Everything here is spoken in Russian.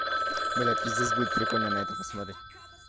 бля пиздец будет прикольно на это посмотреть